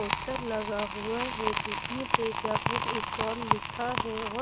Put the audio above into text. poster लगा हुआ है जिसमे तेजा बुक स्टॉल लिखा है और--